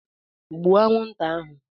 Gbụo anwụnta ahụ!